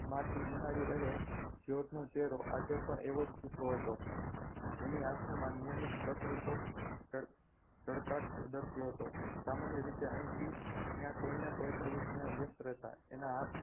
માટી નિહાળી રહેલ જ્યોર્જનો ચહેરો આજે પણ એવોજ ફીકો હતો એની આંખો માં નિયમિત ચળકાટ દર્શી હતો સામાન્ય રીતે અહીંથી ત્યાં કોઈને કોઈ પ્રવૃત્તિમાં વ્યસ્ત રહેતો એના હાથ